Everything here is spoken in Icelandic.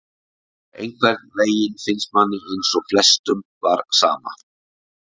Einhvern veginn finnst manni eins og flestum var sama,